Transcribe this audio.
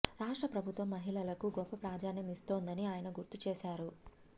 రాష్ట్ర ప్రభుత్వం మహిళలకు గోప్ప ప్రాధాన్యం ఇస్తోందని ఆయన గుర్తు చేశారు